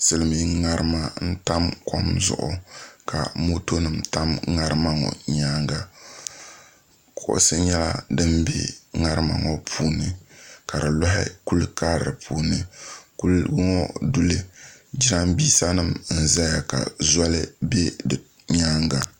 silmiin ŋarima n tam kom zuɣu ka moto nim tam ŋarima ŋo nyaanga kuɣusi nyɛla din bɛ ŋarima ŋo puuni ka di loɣi kuli karili puuni kuligi ŋo duli jiranbiisa nim n ʒɛya ka zoli bɛ di nyaanga